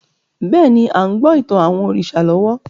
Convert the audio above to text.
Bẹ́ẹ̀ni, a ń gbọ́ ìtàn àwọn òrìṣà lọ́wọ́